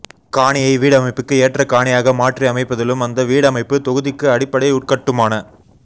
காணியை வீடமைப்புக்கு ஏற்ற காணியாக மாற்றியமைப்பதிலும் அந்த வீடமைப்பு தொகுதிக்கு அடிப்படை உட்கட்டுமான